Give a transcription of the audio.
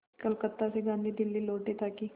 कलकत्ता से गांधी दिल्ली लौटे ताकि